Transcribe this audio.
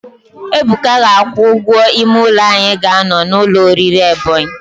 Ebuka ga-akwụ ụgwọ ime ụlọ anyị ga-anọ n' ụlọ oriri Ebonyi.